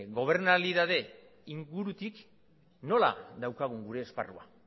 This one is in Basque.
gobernalidade ingurutik nola daukagun gure esparruan